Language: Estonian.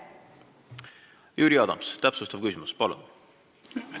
Jüri Adams, täpsustav küsimus, palun!